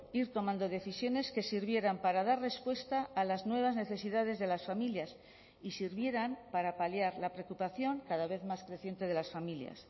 ir tomando decisiones que sirvieran para dar respuesta a las nuevas necesidades de las familias y sirvieran para paliar la preocupación cada vez más creciente de las familias